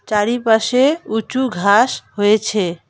চারিপাশে উঁচু ঘাস হয়েছে।